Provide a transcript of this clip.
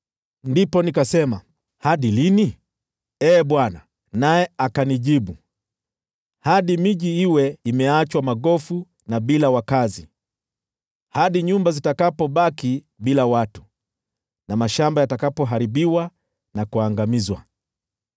Ndipo nikasema, “Hadi lini, Ee Bwana?” Naye akanijibu: “Hadi miji iwe imeachwa magofu na bila wakazi, hadi nyumba zitakapobaki bila watu, na mashamba yatakapoharibiwa na kuangamizwa,